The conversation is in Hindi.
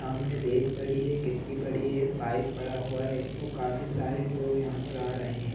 सामने रेत पड़ी है गिट्टी पड़ी है पाइप पड़ा हुआ है ओ काफी सारे लोग यहाँ पर आ रहे हैं।